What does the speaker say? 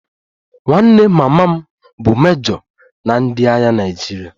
Nwanne mama m bụ mejo na ndị agha Naịjirịa